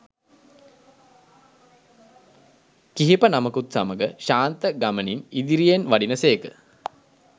කිහිප නමකුත් සමඟ ශාන්ත ගමනින් ඉදිරියෙන් වඩින සේක